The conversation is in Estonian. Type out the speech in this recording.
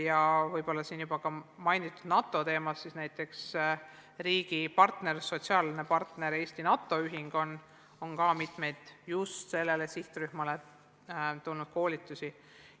Ja võib-olla siin juba mainitud NATO teemal võib tuua näiteks riigi sotsiaalse partneri, Eesti NATO Ühingu, kes on korraldanud mitmeid just sellele sihtrühmale vajalikke koolitusi.